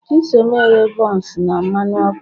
Chisom eghe buns na mmanụ ọkụ